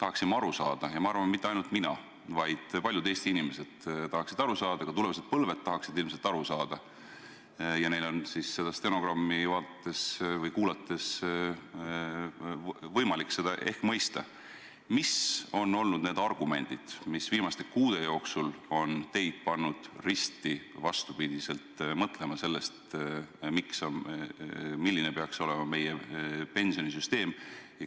tahaksin aru saada – ja ma arvan, mitte ainult mina, vaid paljud Eesti inimesed ja ka tulevased põlved tahaksid ilmselt aru saada ja seda stenogrammi vaadates või kuulates on see ehk võimalik –, mis on olnud need argumendid, mis viimaste kuude jooksul on teid pannud risti vastupidiselt mõtlema sellest, milline peaks olema meie pensionisüsteem.